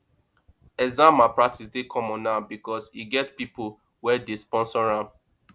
exam malpractice dey common now because e get pipo wey dey sponsor am